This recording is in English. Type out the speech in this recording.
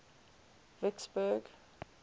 vicksburg